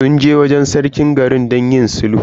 Sun je wajen Sarkin garin don yin sulhu.